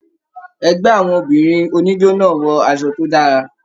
Ẹgbẹ àwọn obìnrin oníjó náà wọ aṣọ tó dára.